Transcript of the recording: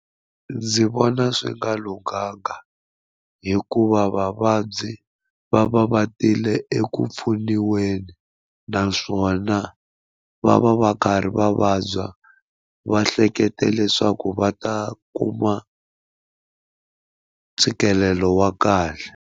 Ndzi vona swi nga lunghanga hikuva vavabyi va va va tile eku pfuniweni naswona va va va karhi va vabya va hleketa leswaku va ta kuma ntshikelelo wa kahle.